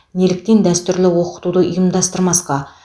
неліктен дәстүрлі оқытуды ұйымдастырмасқа